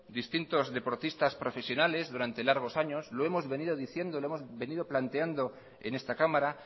distintos deportistas profesionales durante largos años lo hemos venido diciendo lo hemos venido planteando en esta cámara